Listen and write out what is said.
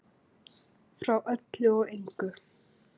Frá öllu og engu.